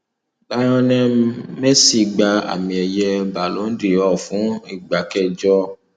lionel messi gba àmì ẹyẹ balo dor fún ìgbà kẹjọ